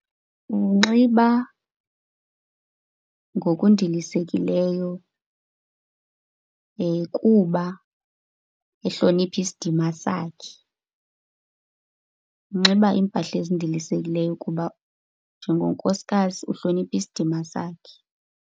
Unxiba ngokundilisekileyo kuba ehlonipha isidima sakhe. Unxiba iimpahla ezindilisekileyo kuba njengonkosikazi uhlonipha isidima sakhe.